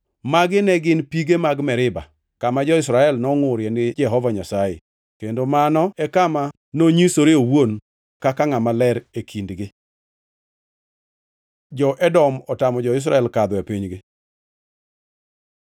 Magi ne gin pige mag Meriba, kama jo-Israel nongʼurie gi Jehova Nyasaye kendo mano e kama nonyisore owuon kaka ngʼama ler e kindgi. Jo-Edom otamo jo-Israel kadho e pinygi